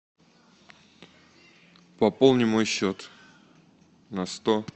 пополни мой счет на сто